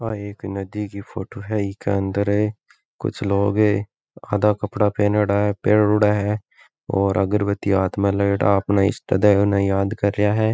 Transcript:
या एक नदी की फोटो है ईके अंदर कुछ लोग है आधा कपड़ा पेहनेडा है पहनोड़ा है और अगरबत्ती हाथ में लिए अपने इष्ट देव ने याद कर रेहा है।